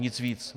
Nic víc.